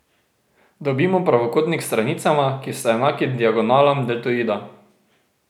Dobimo pravokotnik s stranicama, ki sta enaki diagonalam deltoida.